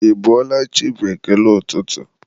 ị bọọla chi? bụ ekele ụtụtụ